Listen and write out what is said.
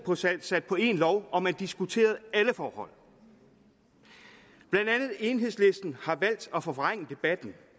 sat på én lov og man diskuterede alle forhold blandt andet enhedslisten har valgt at forvrænge debatten